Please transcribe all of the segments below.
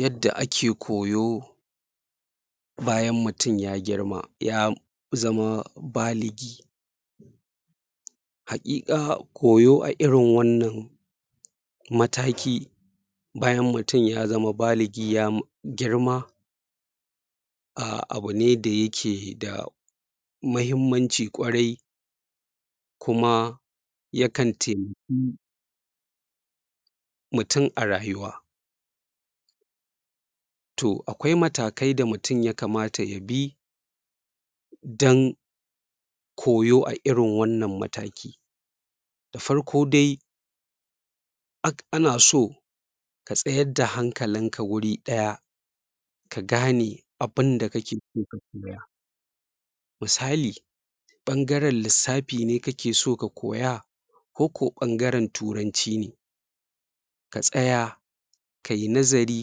Yadda ake koyon bayan mutum ya girma ya zama baligi hakika, koyo a irin wannan mataki bayan mtum ya zama baligi ya girma ahh abune da yake da mahimmanci kwarai kuma yakan taimaki mutum a rayuwa toh akwai matakai da mutum ya kamata ya bi dan koyo a irin wannan mataki da farko de ana so ka tsayar da hankalinka wuri ɗaya ka gane abun da kakeso ka koya misali ɓangaren lissafi ne kakeso ka koya ko ko ɓangaren turanci ne ka tsaya ka yi nazari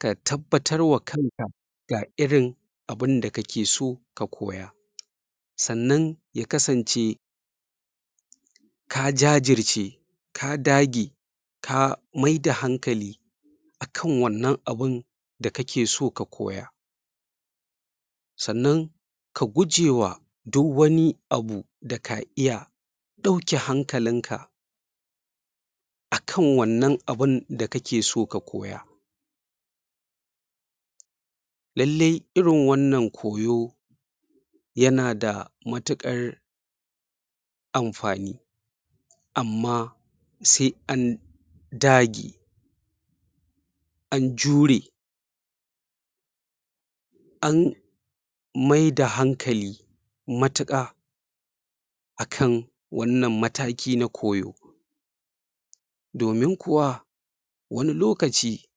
ka tabbatar wa kanka ga irin abun da kakeso ka koya sannan ya kasance ka jajirce ka dage ka miyar da hankali akan wannan abun da kakeso ka koya sannan ka gujewa duk wani abu daka iya ɗauke hankalinka akan wannan abun da kakeso ka koya lalle irin wannan koyo yanada mutukar amfani amma se an dage an jure an miyar da hankali mutuka akan wannan mataki na koyo domi kuwa wani lokaci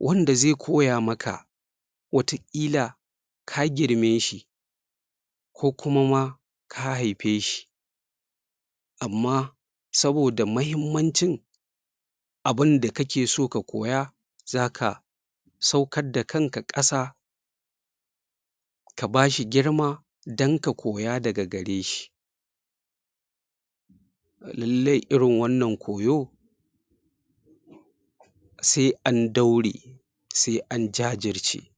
wanda ze koya maka watakila ka gieme shi ko kuma ma ka haife shi amma saboda mahimmancin abun da kakeso ka koya za ka saukar da kanka ƙasa ka bashi girma dan ka koya daga gare shi lalle irin wannan koyo se an daure se an jajirce.